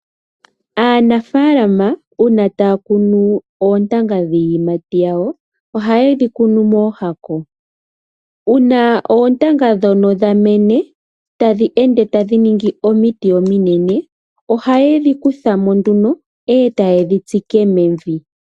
Aanafaalama uuna taya kunu oontanga dhiiyimati yawo, oha yedhi kunu mooshako, uuna oontanga ndhono dha mene, tadhi ende tadhi ningi omiti ominene, oha yedhi kuthamo nduno eta yedhi tsike mevi.